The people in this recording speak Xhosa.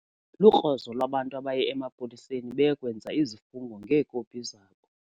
Lukrozo lwabantu abaye emapoliseni beye kwenza izifungo ngeekopi zabo.